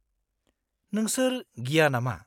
-नोंसोर गिया नामा?